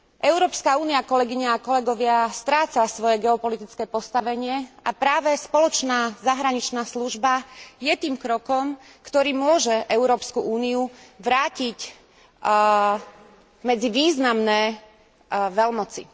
Európska únia, kolegyne a kolegovia, stráca svoje geopolitické postavenie a práve spoločná zahraničná služba je tým krokom, ktorý môže Európsku úniu vrátiť medzi významné veľmoci.